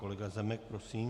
Kolega Zemek, prosím.